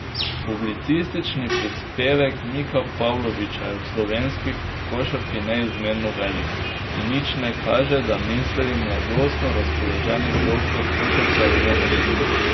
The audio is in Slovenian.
Publicistični prispevek Mika Pavloviča je v slovenski košarki neizmerno velik, in nič ne kaže, da misli mladostno razpoloženi doktor košarke odnehati.